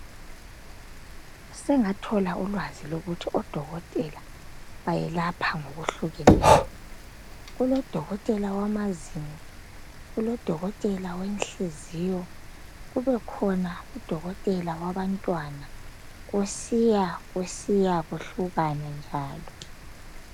Sengathola ulwazi lokuthi odokotela bayelapha ngokuhlukeneyo. Kulodokotela wamazinyo, kulodokotela wenhliziyo kube khona udokotela wabantwana kusiya kusiya kuhlukana njalo.